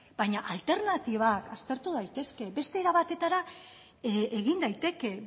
baina alternatibak aztertu daitezke beste era batetara egin daiteke